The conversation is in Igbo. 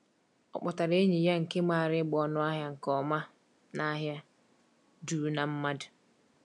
O kpọtara enyi ya nke maara ịgba ọnụahịa nke ọma n’ahịa juru na mmadụ.